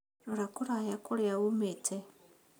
Rora kũraya kũrĩa uumĩte